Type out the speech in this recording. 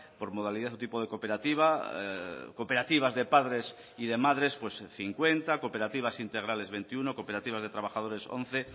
por modalidad o tipo de cooperativa cooperativas de padres y de madres cincuenta cooperativas integrales veintiuno cooperativas de trabajadores once